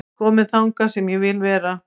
Kominn þangað sem ég vil vera